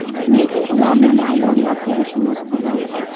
Lekin ularni maydonda ko‘rishimiz kerak.